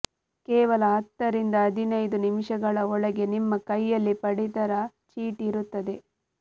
ಕೇವಲ ಹತ್ತರಿಂದ ಹದಿನೈದು ನಿಮಿಷಗಳ ಒಳಗೆ ನಿಮ್ಮ ಕೈಯಲ್ಲಿ ಪಡಿತರ ಚಿಟಿ ಇರುತ್ತದೆ